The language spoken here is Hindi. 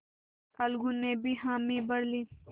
अलगू ने भी हामी भर ली